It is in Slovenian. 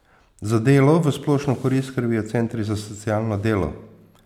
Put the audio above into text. Za delo v splošno korist skrbijo centri za socialno delo.